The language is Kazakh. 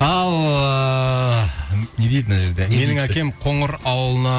ал ыыы не дейді мына жерде менің әкем қоңыр ауылына